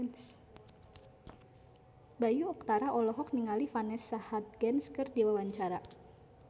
Bayu Octara olohok ningali Vanessa Hudgens keur diwawancara